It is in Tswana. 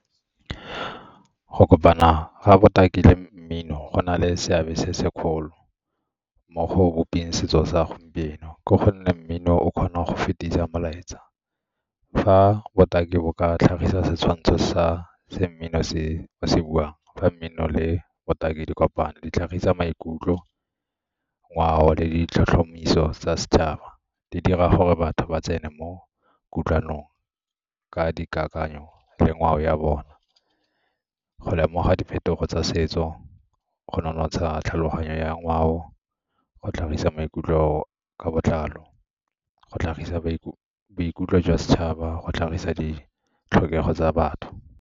Go kopana ga botaki le mmino go na le seabe se segolo mo go bopeng setso sa gompieno, ke gonne mmino o kgona go fetisa molaetsa. Fa botaki bo ka tlhagisa setshwantsho sa se mmino se se buang fa mmino le botaki dikopano di tlhagisa maikutlo, ngwao le ditlhotlhomiso tsa setšhaba. Di dira gore batho ba tsene mo kutlwanong ka dikakanyo le ngwao ya bona. Go lemoga diphetogo tsa setso go nonotsha tlhaloganyo ya ngwao go tlhagisa maikutlo ka botlalo go tlhagisa boikutlo jwa setšhaba, go tlhagisa ditlhokego tsa batho.